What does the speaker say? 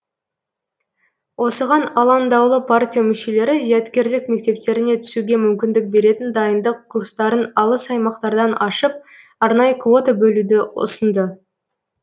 осыған алаңдаулы партия мүшелері зияткерлік мектептеріне түсуге мүмкіндік беретін дайындық курстарын алыс аймақтардан ашып арнайы квота бөлуді ұсынды